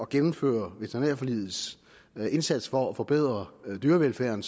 gennemføre veterinærforligets indsats for at forbedre dyrevelfærden